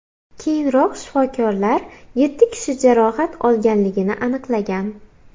Keyinroq shifokorlar yetti kishi jarohat olganligini aniqlagan.